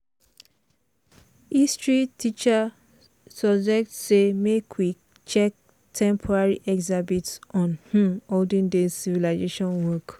history teacher suggest say make we check temporary exhibit on um olden days civilization work.